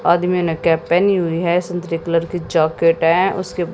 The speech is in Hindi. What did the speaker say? आदमी ने कैप पहनी हुई है संतरे कलर की जैकेट है उसके--